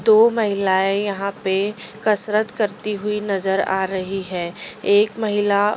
दो महिलाएं यहाँ पे कसरत करती हुई नजर आ रही है एक महिला।